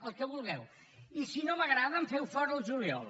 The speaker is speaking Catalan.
el que vulgueu i si no m’agrada em feu fora al juliol